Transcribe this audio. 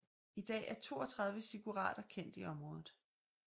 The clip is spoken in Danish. I dag er 32 ziggurater kendt i området